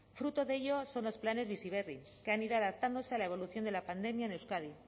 fruto de ello son los planes bizi berri que han ido adaptándose a la evolución de la pandemia en euskadi